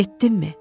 Getdinmi?